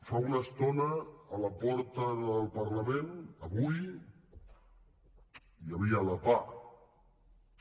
fa una estona a la porta del parlament avui hi havia la pah